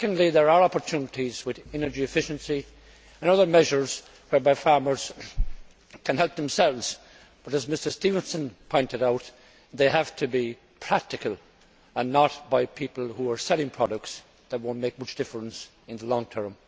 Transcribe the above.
Secondly there are opportunities with energy efficiency and other measures whereby farmers can help themselves, but as Mr Stevenson pointed out they have to be practical and not by people who are selling products that will not make much difference in the long term.